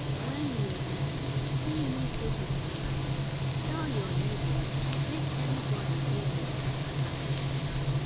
wen you um see new faces around tell your neighbor make everybody dey um alert.